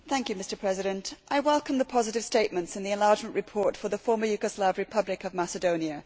Mr President, I welcome the positive statements in the enlargement report for the Former Yugoslav Republic of Macedonia.